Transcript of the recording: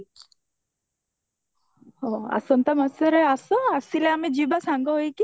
ଆସନ୍ତା ମାସରେ ଆସ ଆସିଲେ ଯିବା ସାଙ୍ଗ ହେଇକି